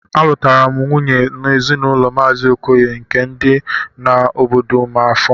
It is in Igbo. Alụtaram nwunyem n'ezinụlọ mazi okoye nke di na obodo amafor